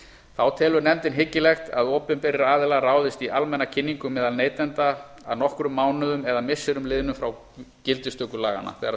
þá telur nefndin hyggilegt að opinberir aðilar ráðist í almenna kynningu meðal neytenda að nokkrum mánuðum eða missirum liðnum frá gildistöku laganna þegar